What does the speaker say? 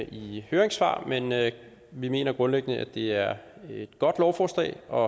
i høringssvarene men vi mener grundlæggende at det er et godt lovforslag og